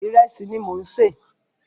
Ìrẹsì ni mò ń sè.